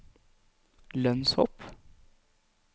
lønnshopp